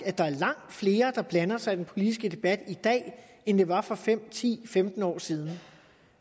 at der er langt flere der blander sig i den politiske debat i dag end der var for fem ti femten år siden